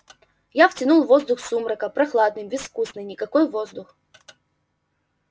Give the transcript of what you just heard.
я втянул воздух сумрака прохладный безвкусный никакой воздух